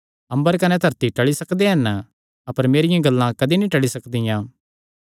अम्बर कने धरती टल़ी सकदे हन अपर मेरियां गल्लां कदी टल़ी नीं सकदियां